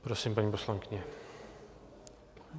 Prosím, paní poslankyně.